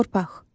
Torpaq.